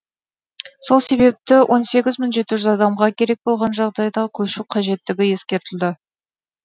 сол себепті он сегіз мың жеті жүз адамға керек болған жағдайда көшу қажеттігі ескертілді